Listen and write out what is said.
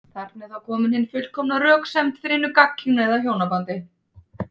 Þarna er þá komin hin fullkomna röksemd fyrir hinu gagnkynhneigða hjónabandi.